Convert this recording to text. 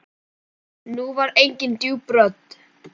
Nú var engin djúp rödd.